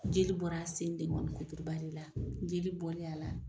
Jeli bɔr'a sen deŋɔnikuturuba de la jeli bɔlen a la